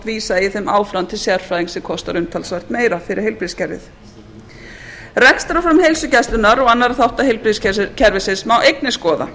vísa eigi þeim áfram til sérfræðings sem kostar umtalsvert meira fyrir heilbrigðiskerfið rekstrarform heilsugæslunnar og annarra þátta heilbrigðiskerfisins má einnig skoða